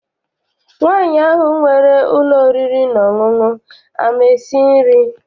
Nwaanyi ahụ nwere ụlọ oriri na ọṅụṅụ ama esi nri?